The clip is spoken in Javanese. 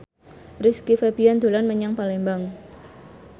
Rizky Febian dolan menyang Palembang